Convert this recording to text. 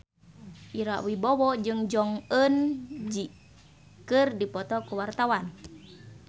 Ira Wibowo jeung Jong Eun Ji keur dipoto ku wartawan